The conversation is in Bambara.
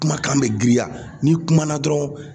Kumakan bɛ girinya n'i kumana dɔrɔn